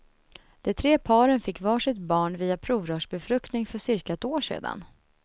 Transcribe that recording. De tre paren fick var sitt barn via provrörsbefruktning för cirka ett år sedan.